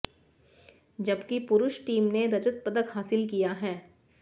जबकि पुरूष टीम ने रजत पदक हासिल किया है